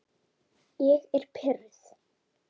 Ég er pirruð.